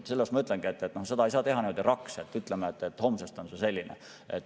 Sellepärast ma ütlengi, et seda ei saa teha niimoodi raks, et ütleme, et homsest on see selline.